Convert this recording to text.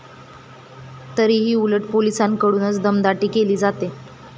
तरीही उलट पोलिसांकडूनच दमदाटी केली जाते.